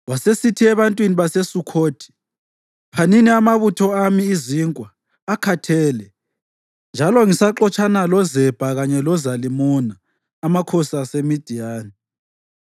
Wasesithi ebantwini baseSukhothi, “Phanini amabutho ami izinkwa; akhathele, njalo ngisaxotshana loZebha kanye loZalimuna, amakhosi aseMidiyani.”